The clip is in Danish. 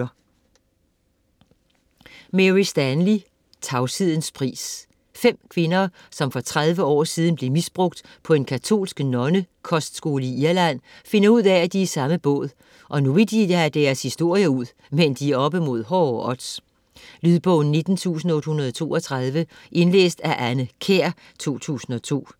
Stanley, Mary: Tavshedens pris 5 kvinder, som for 30 år siden blev misbrugt på en katolsk nonnekostskole i Irland, finder ud af at de er i samme båd, og vil nu have deres historier ud, men de er oppe mod hårde odds. Lydbog 19832 Indlæst af Anne Kjær, 2002. Spilletid: 11 timer, 3 minutter.